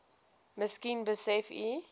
miskien besef u